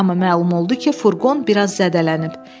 Amma məlum oldu ki, furqon biraz zədələnib.